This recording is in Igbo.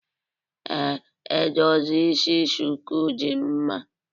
Ee, edozi isi shuku dị mma